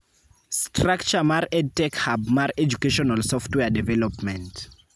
Structre mar EdTech Hub mar Educational Software Development.